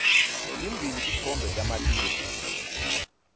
timbili titfombe tamatisi